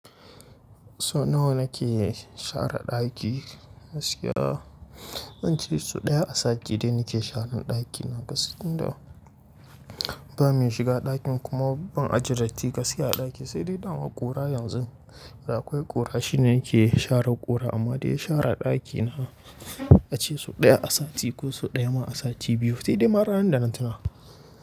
So nawa kike share daki? Gaskiya Zance sau ɗaya a sati dai nike sharan dakina gaskiya. Inda ba mai shiga ɗakin kuma ban ajiye datti gaskiya a ɗakin, sai dai dama ƙura yanzu Da akwai ƙura shine nake share ƙura amma dai share dakina, ace sau ɗaya a sati ko sau ɗaya ma a sati biyu, sai dai ma ranan da na tuna.